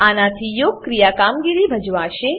આનાથી યોગક્રિયા કામગીરી ભજવાશે